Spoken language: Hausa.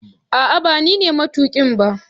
ah ah banine matukin ba